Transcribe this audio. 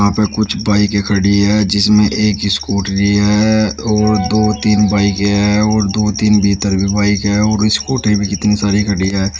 हां पर कुछ बाइकें खड़ी है जिसमें एक स्कूटरी है और दो तीन बाइकें हैं और दो तीन भीतर भी बाइक हैं और स्कूटी भी कितनी सारी खड़ी हैं।